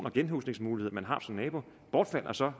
og genhusningsmulighed man har som nabo bortfalder og så